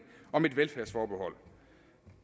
om et velfærdsforbehold